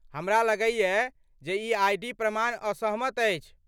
हमरा लगैए जे ई आइ.डी. प्रमाण असहमत अछि।